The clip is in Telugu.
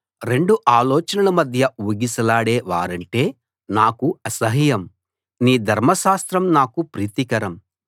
రెండు ఆలోచనల మధ్య ఊగిసలాడే వారంటే నాకు అసహ్యం నీ ధర్మశాస్త్రం నాకు ప్రీతికరం